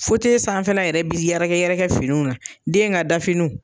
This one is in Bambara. sanfɛla yɛrɛ biri yɛrɛkɛ yɛrɛkɛ finiw na den ŋa da finiw.